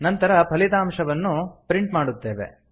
ನಂತರ ಫಲಿತಾಂಶವನ್ನು ಪ್ರಿಂಟ್ ಮಾಡುತ್ತೇವೆ